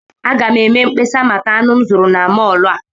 Aga m eme mkpesa maka anụ m zụrụ na mọọlụ a.